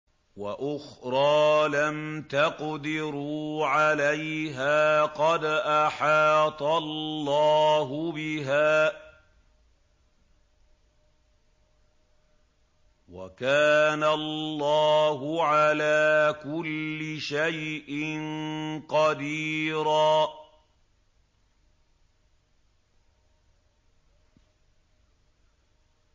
وَأُخْرَىٰ لَمْ تَقْدِرُوا عَلَيْهَا قَدْ أَحَاطَ اللَّهُ بِهَا ۚ وَكَانَ اللَّهُ عَلَىٰ كُلِّ شَيْءٍ قَدِيرًا